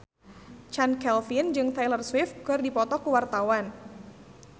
Chand Kelvin jeung Taylor Swift keur dipoto ku wartawan